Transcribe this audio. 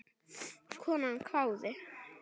Konan hváði.